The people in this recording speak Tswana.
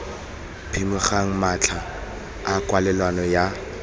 phimogeng matlha a kwalelano ya